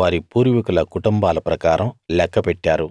వారి పూర్వీకుల కుటుంబాల ప్రకారం లెక్క పెట్టారు